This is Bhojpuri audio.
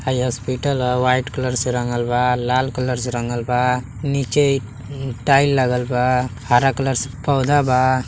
हई हॉस्पिटल ह। वाईट कलर से रंगल बा लाल कलर बा। नीचे एक टाइल लागल बा। हरा कलर से पौधा बा।